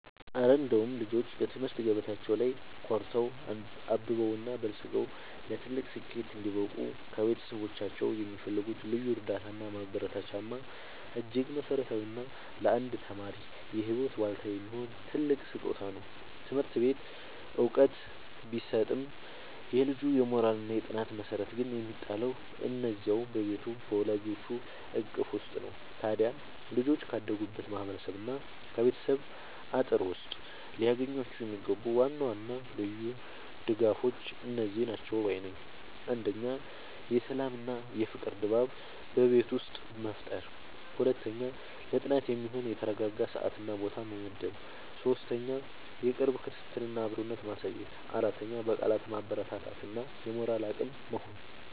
እረ እንደው ልጆች በትምህርት ገበታቸው ላይ ኮርተው፣ አብበውና በልጽገው ለትልቅ ስኬት እንዲበቁ ከቤተሰቦቻቸው የሚፈልጉት ልዩ እርዳታና ማበረታቻማ እጅግ መሠረታዊና ለአንድ ተማሪ የህይወት ዋልታ የሚሆን ትልቅ ስጦታ ነው! ትምህርት ቤት ዕውቀት ቢሰጥም፣ የልጁ የሞራልና የጥናት መሠረት ግን የሚጣለው እዚያው በቤቱ በወላጆቹ እቅፍ ውስጥ ነው። ታዲያ ልጆች ካደጉበት ማህበረሰብና ከቤተሰብ አጥር ውስጥ ሊያገኟቸው የሚገቡ ዋና ዋና ልዩ ድጋፎች እነዚህ ናቸው ባይ ነኝ፦ 1. የሰላምና የፍቅር ድባብ በቤት ውስጥ መፍጠር 2. ለጥናት የሚሆን የተረጋጋ ሰዓትና ቦታ መመደብ 3. የቅርብ ክትትልና አብሮነት ማሳየት 4. በቃላት ማበረታታት እና የሞራል አቅም መሆን